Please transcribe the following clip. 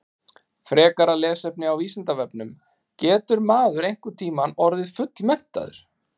Frekara lesefni á Vísindavefnum Getur maður einhvern tímann orðið fullmenntaður?